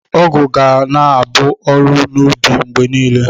Ọgụ ga na-aba uru n'ubi mgbe niile.